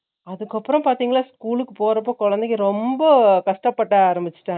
அதுக்கு அப்ரோ பாத்திங்களா school க்கு போறப்போ குழந்தைங்க ரொம்ப கஷ்டப்பட ஆராமேச்சுட்டாங்க